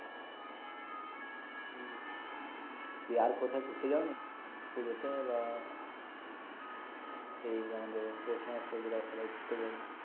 দিয়ে আর কোথাও ঘুরতে যাওনি পুজো তে বা এই আমাদের পৌষমাসে যেরা সবাই ঘুরতে যায়